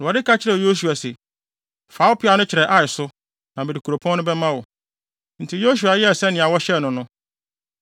Awurade ka kyerɛɛ Yosua se, “Fa wo peaw no kyerɛ Ai so, na mede kuropɔn no bɛma wo.” Enti, Yosua yɛɛ sɛnea wɔhyɛɛ no no.